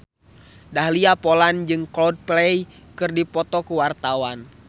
Dahlia Poland jeung Coldplay keur dipoto ku wartawan